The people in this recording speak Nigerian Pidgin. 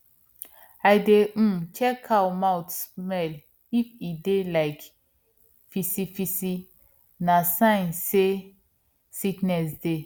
i dey um check cow mouth smell if e dey like fisifisi na sign say sickness dey